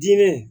Diinɛ